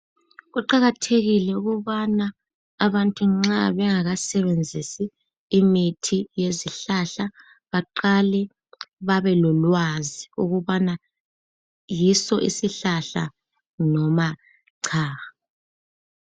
Kuqakathekile ukubana abantu nxa bengasebenzisi imithi yesintu loba isihlahla babekwazi ukubana yiso isihlahla loba cha.